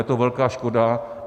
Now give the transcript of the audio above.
Je to velká škoda.